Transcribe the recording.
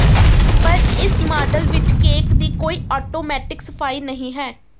ਪਰ ਇਸ ਮਾਡਲ ਵਿਚ ਕੇਕ ਦੀ ਕੋਈ ਆਟੋਮੈਟਿਕ ਸਫਾਈ ਨਹੀਂ ਹੈ